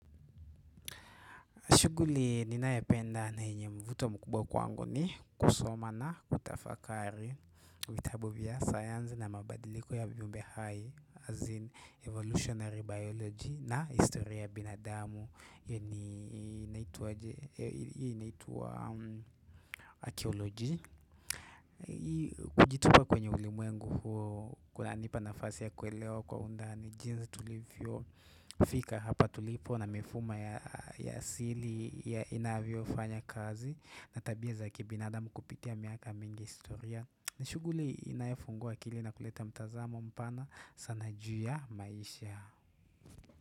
Shughuli ninayapenda na yenye mvuto mkubwa kwangu ni kusoma na kutafakari vitabu vya sayanzi na mabadiliko ya viumbe hai, as in evolutionary biology na historia ya binadamu. Hii inaituwa archaeology. Kujitupa kwenye ulimwengu huo kuna nipa nafasi ya kwelewa kwa undani. Nijinzi tulivyo fika hapa tulipo na mifuma ya ya asili ya inavyo fanya kazi na tabia za kibinadamu kupitia miaka mingi historia. Nishughuli inayefungua akili na kuleta mtazamo mpana sana juu ya maisha.